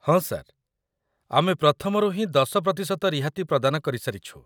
ହଁ, ସାର୍। ଆମେ ପ୍ରଥମରୁ ହିଁ ୧୦ ପ୍ରତିଶତ ରିହାତି ପ୍ରଦାନ କରି ସାରିଛୁ।